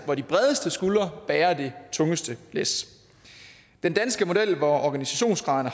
hvor de bredeste skuldre bærer det tungeste læs den danske model hvor organisationsgraden